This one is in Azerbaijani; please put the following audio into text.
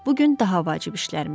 Bu gün daha vacib işlərimiz var.